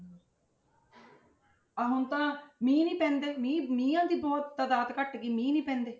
ਆਹ ਹੁਣ ਤਾਂ ਮੀਂਹ ਨੀ ਤਿੰਨ ਦਿਨ ਮੀਂਹ ਮੀਂਹਾਂ ਦੀਆਂ ਬਹੁਤ ਤਦਾਦ ਘੱਟ ਗਈ ਮੀਂਹ ਨੀ ਪੈਂਦੇ।